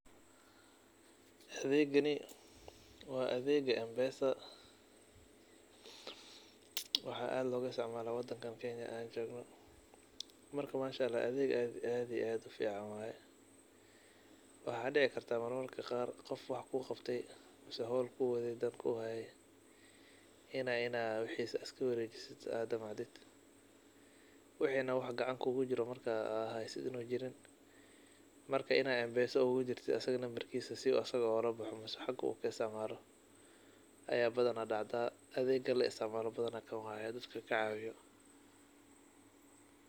Adhegani wa adhega Mpesa, waxa aad logaiasticmala wadankan kenya marka adheed aad iyo aad ufcian waye waxa dici karta mararka qar qof wax kuqabte ama howl kuhaye in ad wixisa iskawarejisid in ad damacdid wax ad gacnata kujira an jirin marka Mpesa aya ugudiri sii asaga ogalabaxo mise xaga kaisitcamalo aya badan dacda adega laisitcmalo kan waye.